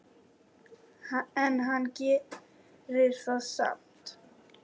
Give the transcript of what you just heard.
En hann gerir það samt.